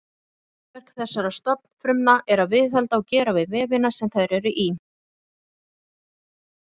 Meginhlutverk þessara stofnfrumna er að viðhalda og gera við vefina sem þær eru í.